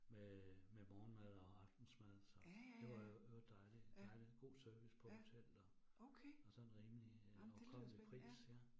Med med morgenmad og aftensmad, så det var jo det var dejligt dejligt. God service på hotel og og sådan rimelig øh overkommelig pris ja